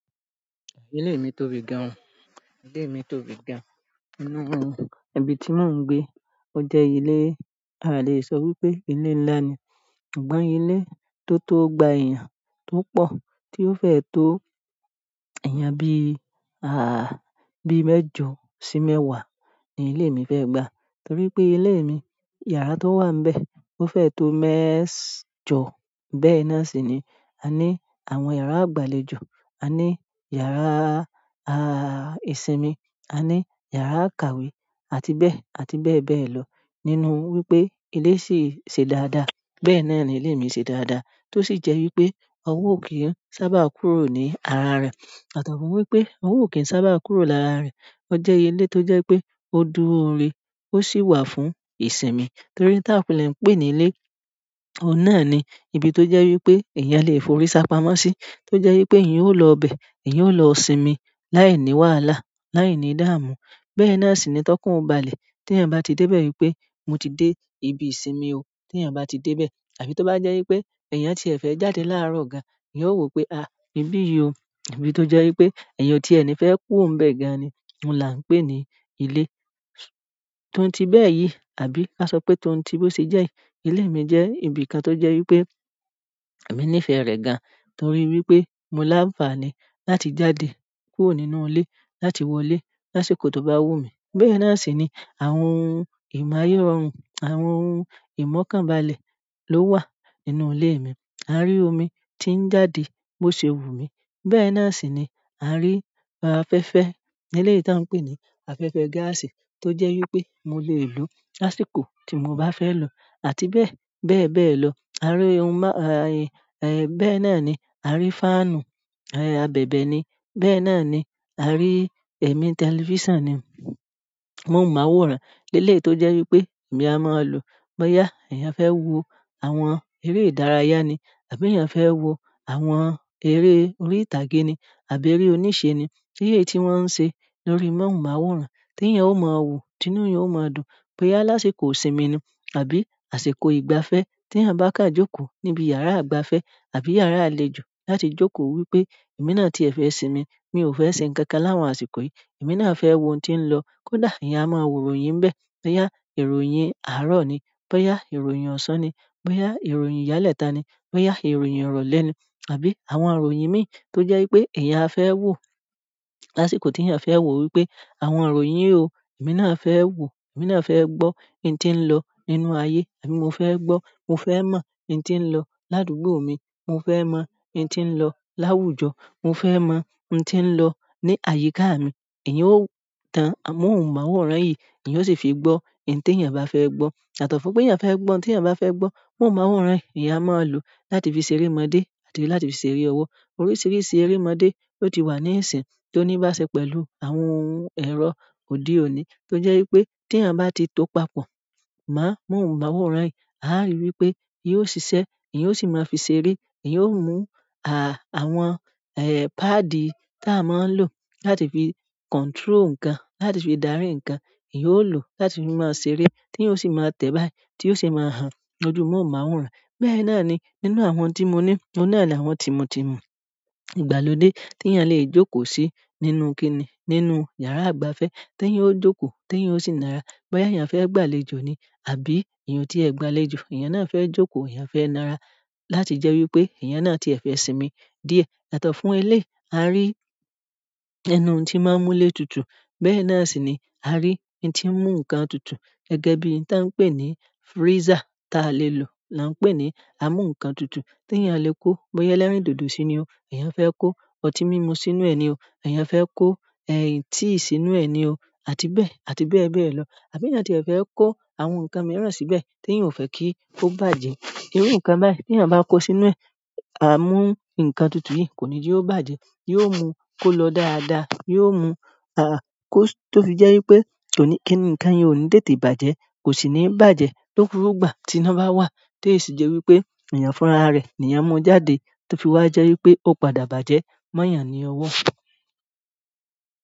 Ilé mi tóbi gan. Ilé mi tóbi gan. Nínú ibi tí mò ń gbé, ó jẹ́ ilé, a lè sọ wípé ilé ńlá ni. Ṣùgbọ́n ilé tó tó gba èèyàn tó pọ̀ tí ó fẹ́ tó èèyàn bí i mẹ́jọ sí mẹ́wàá ni ilé mi fẹ́ e gba. Torí pé ilé mi, yàrá tó wà n bẹ̀, ó fẹ́ tó mẹ́ẹ̀jọ. Bẹ́ẹ̀ náà sì ni a ní àwọn yàrá ìgbàlejò, a ní yàrá ìsinmi, a ní yàrá im, kàwé, àti bẹ́ẹ̀, àti bẹ́ẹ̀ bẹ́ẹ̀ lọ. Nínú wípé ilé sì ṣe dáadáa, bẹ́ẹ̀ náà ni ilé mi ṣe dáadáa, tó sì jẹ́ wípé ọwọ́ ò kí ń sábà kúrò ní ara rẹ̀. Yàtọ̀ fún wípé ọwọ́ ò kí ń sábà kúrò lára rẹ̀. Ó jẹ́ ilé tó jẹ́ pé ó dúró re, ó sì wà fún ìsinmi. Torí táa kunle pé ní ilé, ohun náà ni ibi tó jẹ́ wípé èèyàn lè forí sápamọ́ sí. To jẹ wípé èèyàn lọ ibẹ, èèyàn o lọ sinmi láì ni wàhálà láì ni idamu. Bẹ́ẹ̀ náà sì ni tọkan o balẹ̀ tí èèyàn bá ti dé bẹ́ẹ̀ wípé mo ti dé ibi ìsinmi o. Tí ẹ̀yin bá ti dé bẹ́ẹ̀ àbí tó bá jẹ́ wípé èèyàn tí ẹ̀ fẹ́ jáde láàárọ̀ gan, ìyẹn ó wò pé, "ibí yìí o." Ibi tó jẹ́ wípé èèyàn tí ẹ ni fẹ́ kúrò ń bẹ gan ni ohun la ń pè ní ilé. Toun ti bẹ́ẹ̀ yìí, àbí ka sọ pé toun ti bó ṣe jẹ́ yiì, ilé mi jẹ́ ibìkan tó jẹ́ wípé èmi níìfẹ̀ẹ́ rẹ̀ gan torí wípé mo láánfàní láti jáde kúrò nínú ilé láti wọlé lásìkò tó bá wù mí. Bẹ́ẹ̀ náà sì ni àwọn ohun imaye rọrùn, àwọn ohun ìmọ̀kànbalẹ̀ ló wà nínú ilé mi. A rí omi tí ń jáde bó ṣe wù mí. Bẹ́ẹ̀ náà sì ni a rí afẹ́fẹ́ eleyii tí a ń pè ní afẹ́fẹ́ gáàsì tó jẹ́ wípé mo lè lò lásìkò tí mo bá fẹ́ lò àti bẹ́ẹ̀, bẹ́ẹ̀ bẹ́ẹ̀ lọ. Bẹ́ẹ̀ náà ni a rí fáànù, abẹ̀bẹ̀ ni. Bẹ́ẹ̀ náà ni a rí ẹ̀mí tẹlifíṣàn ni. Mohunmawòrán eleyii tó jẹ́ wípé èmi a máa lò bóyá èèyàn fẹ́ wo àwọn eré ìdárayá ni àbí èèyàn fẹ́ wo àwọn eré orí ìtàgé ni àbí eré oníṣe ni. Eleyii ti wọn se lórí mohunmaworan, ti èèyàn o ma wo ti inú eeyan o maa dùn, bóyá ni àsìkò ìsinmi ni àbí àsìkò ìgbafẹ́, ti èèyàn ba kan joko nibi yara ìgbafẹ́ àbí yara àlejò láti joko wípé emi náà ti e fẹ sinmi, mo o fẹ ṣe nnkankan ni àwọn àsìkò yìí. Èmi náà fẹ́ wo ohun tí ń lọ. Kódà èèyàn a máa wo ìròyìn n bẹ́ẹ̀, bóyá ìròyìn àárọ̀ ni, bóyá ìròyìn ọ̀sán ni, bóyá ìròyìn iyalẹ́ta ni, bóyá ìròyìn ìrọ̀lẹ́ ni àbí àwọn ìròyìn mìí tó jẹ́ wípé èèyàn a fẹ́ wò lásìkò tí èèyàn fẹ́ wò wípé àwọn ìròyìn o, èmi náà fẹ́ wò, èmi náà fẹ́ gbọ́ ohun tí ń lọ nínú ayé àbí mo fẹ́ gbọ́, mo fẹ́ mọ ohun tí ń lọ ládùúgbò mi, mo fẹ́ mọ ohun tí ń lọ láwùjọ, mo fẹ́ mọ ohun tí ń lọ ní àyíká mi. Ìyẹn ó tan amóhùnmáwòrán yìí, èèyàn sì fi gbọ́ ohun tí èèyàn bá fẹ́ gbọ́. Yàtọ̀ fún pé èèyàn fẹ́ gbọ́ ohun tí èèyàn bá fẹ́ gbọ́, móhùnmáwòrán èèyàn máa lò láti fi ṣeré mọdé e àti láti fi ṣeré ọwọ́. Oríṣiríṣi eré mọdé ló ti wà ní ìsìn tó níí bá ṣe pẹ̀lú àwọn ohun ẹ̀rọ òde òní tó jẹ́ wípé tí èèyàn bá ti tó papọ̀ amóhùnmáwòrán yìí, à ń rí wípé yoó ṣiṣẹ́, èèyàn ó sì máa fi ṣeré, èèyàn ó mú, àwọn páàdì tí a máa ń lò láti fi control nǹkan, láti fi dárí nǹkan, èèyàn ó lò láti fi máa ṣeré tí èèyàn ó sì máa tẹ̀ báyìí tí ó sì máa hàn lójú móhùnmáwòrán. Bẹ́ẹ̀ náà ni nínú àwọn tí mo ní, ohun náà ni àwọn tímutímu ìgbàlódé tí èèyàn lè jókòó sí nínú kíni, nínú yàrá ìgbafẹ́ tí èèyàn ó jókòó tí èèyàn ó sì nára. Bóyá èèyàn fẹ́ gbàlejò ni àbí èèyàn tí ẹ̀ gbàlejò, èèyàn náà fẹ́ jókòó, èèyàn fẹ́ nára láti jẹ́ wípé èèyàn náà tí ẹ̀ fẹ́ sinmi díẹ̀. Yàtọ̀ fún eleyii, a rí inú tí máa ń mú ilé tutù. Bẹ́ẹ̀ náà sì ni a rí ohun tí ń mú nǹkan tutù gẹ́gẹ́ bí ohun tí a ń pè ní freezer táa lè lò, là ń pè ní a mú nǹkan tutù tí èèyàn lè kó bóyá ẹlẹ́rìndòdò si ni o, èèyàn fẹ́ kó ọtí mímu sínú ẹ ni o, èèyàn fẹ́ kó tea sínú ẹ ni o, àti bẹ́ẹ̀, àti bẹ́ẹ̀ bẹ́ẹ̀ lọ. Àbí èèyàn tí è fẹ́ kó àwọn nǹkan mìíràn síbẹ̀ tí èèyàn ò fẹ́ kí ó bàjẹ́. Irú nǹkan báyìí tí èèyàn bá kó sínú ẹ, a mú nǹkan tutù yìí kò ní jẹ ò bàjẹ́. Yóò mú kó lọ dáadáa, yóò mú tó fi jẹ́ wípé nǹkan yen ò ní tètè bàjẹ́, kò sì ní bàjẹ́ to fi mo ìgbà tí iná bá wà tó èyí sì jẹ́ wípé èèyàn fúnra rẹ̀ ni èèyàn mú jáde tó fi wá jẹ́ wípé ó padà bàjẹ́ mó èèyàn ni ọwọ́.